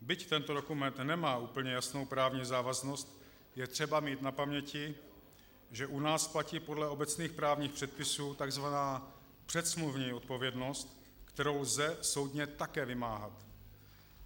Byť tento dokument nemá úplně jasnou právní závaznost, je třeba mít na paměti, že u nás platí podle obecných právních předpisů tzv. předsmluvní odpovědnost, kterou lze soudně také vymáhat.